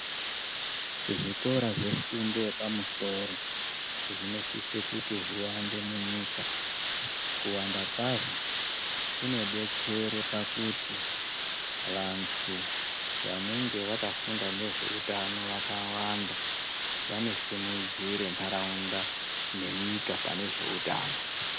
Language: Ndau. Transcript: Zvikora zvefundo yepamusoro zvinosise kuti zviwande munyika. Kuwanda kwazvo kunobetsere pakuti vantu vanonge vakafunda nezveutano vakawanda, vanosimudzire ntaraunda nenyika pane zveutano.